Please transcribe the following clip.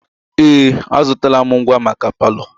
Ee! Azụtala m ngwa maka palọ.